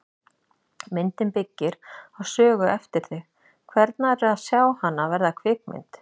Myndin byggir á sögu eftir þig, hvernig er að sjá hana verða kvikmynd?